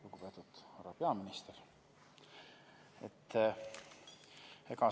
Lugupeetud härra peaminister!